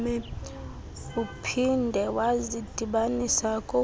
uphinde wazidibanisa kokunye